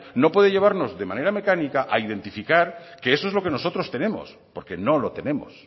no puede llevarnos de manera mecánica a identificar que eso es lo que nosotros tenemos porque no lo tenemos